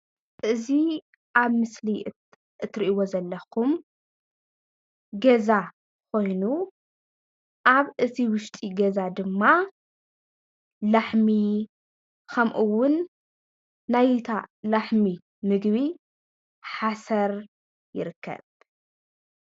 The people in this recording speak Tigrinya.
እዚ ኣብ ምስሊ እትርእይዎ ዘለኩም ገዛ ኮይኑ ኣብ እቲ ውሽጢ ገዛ ድማ ላሕሚ ከምኡ'ውን ናይታ ላሕሚ ምግቢ ሓሰር ይርከብ።